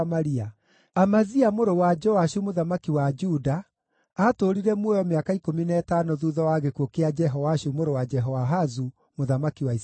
Amazia mũrũ wa Joashu mũthamaki wa Juda aatũũrire muoyo mĩaka ikũmi na ĩtano thuutha wa gĩkuũ kĩa Jehoashu mũrũ wa Jehoahazu mũthamaki wa Isiraeli.